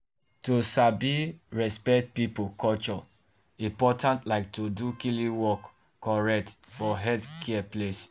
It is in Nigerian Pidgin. to sabi and respect people culture important like to do klinik work correct for healthcare place. um